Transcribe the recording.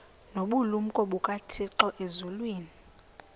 nobulumko bukathixo elizwini